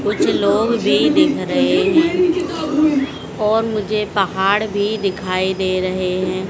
कुछ लोग भी दिख रहे हैं और मुझे पहाड़ भी दिखाई दे रहे हैं।